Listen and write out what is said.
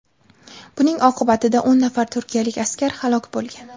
Buning oqibatida o‘n nafar turkiyalik askar halok bo‘lgan.